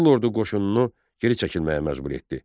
Qızıl ordu qoşununu geri çəkilməyə məcbur etdi.